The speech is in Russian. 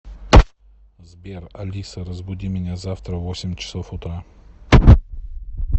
сбер алиса разбуди меня завтра в восемь часов утра